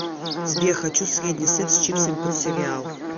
сбер хочу средний сет с чипсами под сериал